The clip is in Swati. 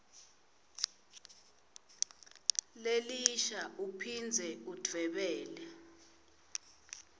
lelisha uphindze udvwebele